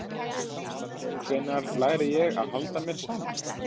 Hvenær læri ég að halda mér saman?